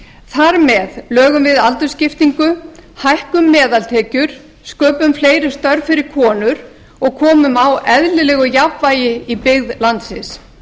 þar með lögum við aldursskiptingu hækkum meðaltekjur sköpum fleiri störf fyrir konur og komum á eðlilegu jafnvægi í byggð landsins